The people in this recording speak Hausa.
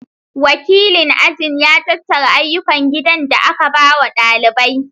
Wakilin ajin ya tattara ayyukan gidan da aka ba wa ɗaliban